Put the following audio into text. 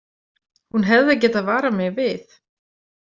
Hún hefði getað varað mig við.